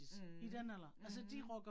Mh mh